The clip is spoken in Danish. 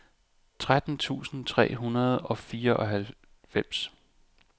tretten tusind tre hundrede og fireoghalvfems